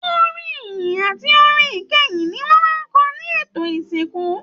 Orin ìyìn àti orin ìkẹyìn ní wọn máa n kọ ní ètò ìsìnkú.